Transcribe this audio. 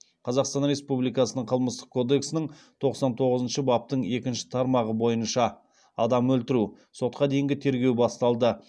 қазақстан республикасының қылмыстық кодексінің тоқсан тоғызыншы баптың екінші тармағы бойынша сотқа дейінгі тергеу басталды